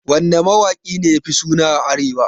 Wanne mawaki ne yafi suna a arewa?